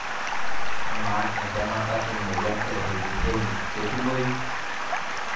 Amaa entemata e moyian eHailey Hailey ketumoyu?